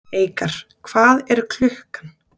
Eikar, hvað er klukkan?